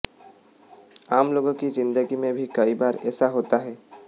आम लोगों की जिंदगी में भी कई बार ऐसा होता है